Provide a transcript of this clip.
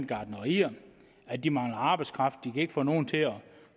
gartnerier at de mangler arbejdskraft de kan ikke få nogen til at